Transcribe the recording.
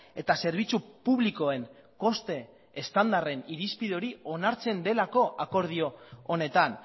eta zerbitzu publikoen koste estandarren irizpide hori onartzen delako akordio honetan